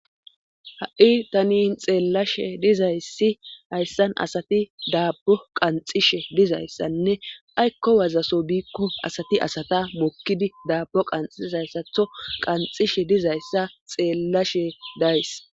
ha7i tanin xeellashe dizayssi hayssan asati daabbo qanxishe dizayssanne aykko wazaso biikko asati asata mokkidi daabbo qanxizayssatho qanxishe dizayssa xeellashe days